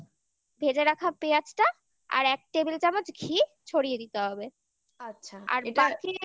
ভেজে রাখা পেঁয়াজটা আর এক table চামচ ঘি ছড়িয়ে দিতে হবে আচ্ছা আর এটা হ্যাঁ